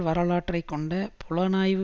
வரலாற்றை கொண்ட புலனாய்வு